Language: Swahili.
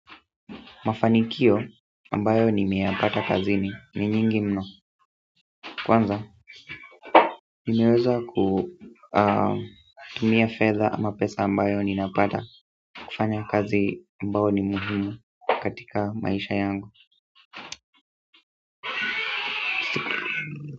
Mafanikio ambayo nimeyapata kazini ni nyingi mno. Kwanza, nimeweza kutumia fedha ama pesa ambayo ninapata kufanya kazi ambayo ni muhimu katika maisha yangu.